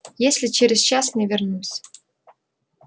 если через час не вернусь